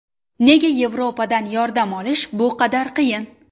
Nega Yevropadan yordam olish bu qadar qiyin?